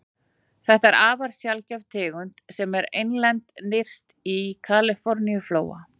Þetta er afar sjaldgæf tegund sem er einlend nyrst í Kaliforníuflóa.